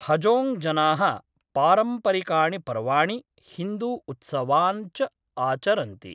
हजोङ्ग् जनाः पारम्परिकाणि पर्वाणि, हिन्दूउत्सवान् च आचरन्ति।